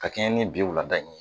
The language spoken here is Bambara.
Ka kɛɲɛ ni bi wulada in ye